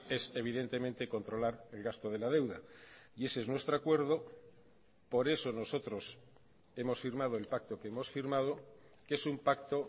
es evidentemente controlar el gasto de la deuda y ese es nuestro acuerdo por eso nosotros hemos firmado el pacto que hemos firmado que es un pacto